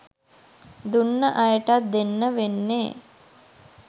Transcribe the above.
දුන්න අයටත් දෙන්න වෙන්නෙ